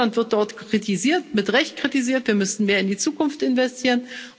Auch Deutschland wird dort kritisiert, mit Recht kritisiert, denn müssen wir mehr in die Zukunft investieren.